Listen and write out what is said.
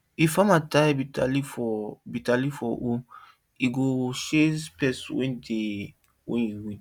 if farmer tie bitterleaf for tie bitterleaf for hoe e go chase pest when you dey weed